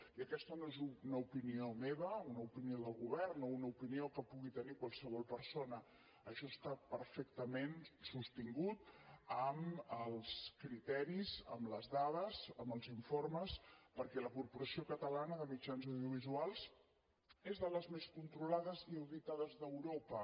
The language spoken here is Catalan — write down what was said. i aquesta no és una opinió meva una opinió del govern o una opinió que pugui tenir qualsevol persona això està perfectament sostingut amb els criteris amb les dades amb els informes perquè la corporació catalana de mitjans audiovisuals és de les més controlades i auditades d’europa